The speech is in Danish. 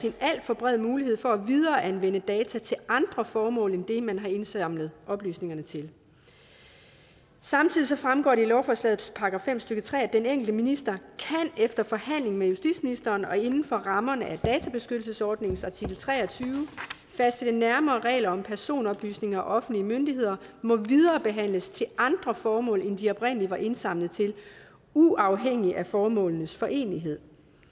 en alt for bred mulighed for at videreanvende data til andre formål end det man har indsamlet oplysningerne til samtidig fremgår det af lovforslagets § fem stykke tre at den enkelte minister efter forhandling med justitsministeren og inden for rammerne af databeskyttelsesforordningens artikel tre og tyve kan fastsætte nærmere regler om at personoplysninger af offentlige myndigheder må viderebehandles til andre formål end de oprindelig var indsamlet til uafhængigt af formålenes forenelighed